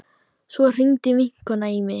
Svo hringdi vinkona mín.